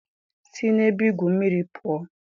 Si na ebe igwu mmiri pụọ!